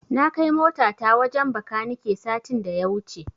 Na kai motata wajen Bakanike satin da ya wuce.